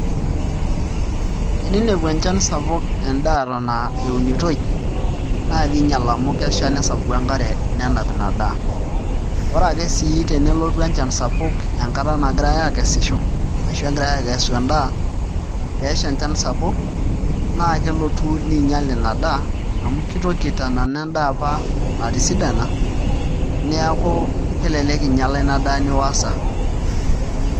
Teninepu enchan sapuk endaa eton eunitoi naa kiinyial oleng' amu kesha nesapuku enkare nenap ina daa ore ake sii tenelotu enchan sapuk enkata nagirai aakesisho ashu egirai aaakesu endaa pee esha enchan sapuk naa kelotu niinyial ina daa amu kitoki aitanana endaa apa natisidana neeku kelelek inyiala ina daa niosa.